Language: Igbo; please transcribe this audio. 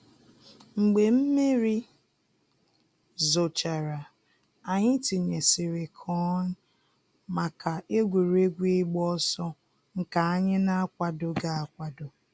Mgbe mmiri zochara, anyị tinyesịrị kọn maka egwuregwu ịgba ọsọ nke anyị na-akwadoghị akwado